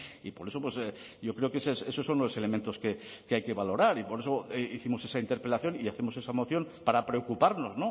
y por eso yo creo que esos son los elementos que hay que valorar y por eso hicimos esa interpelación y hacemos esa moción para preocuparnos